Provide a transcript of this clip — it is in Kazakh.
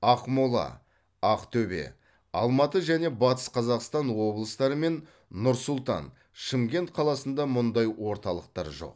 ақмола ақтөбе алматы және батыс қазақстан облыстары мен нұр сұлтан шымкент қаласында мұндай орталықтар жоқ